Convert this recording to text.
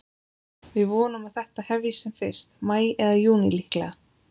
Við vonum að þetta hefjist sem fyrst, maí eða júní líklega.